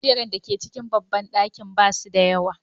Kujerun da ke cikin babban ɗakin ba su da yawa.